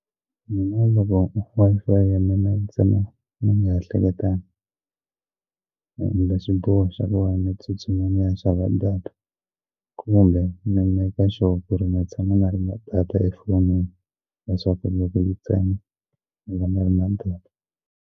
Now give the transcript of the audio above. Mina loko Wi-Fi ya mina yi tsema ni nga ehleketangi ende swiboha swakuva ni tsutsuma ni ya xava data kumbe ni maker sure ku ri ni tshama ni ri na data efonini leswaku loko yi tsema ni va ni ri na data.